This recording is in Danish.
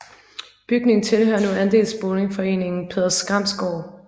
Bygningen tilhører nu andelsboligforeningen Peder Skrams Gård